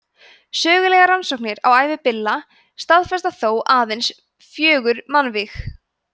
sögulegar rannsóknir á ævi billa staðfesta þó aðeins fjögur mannvíg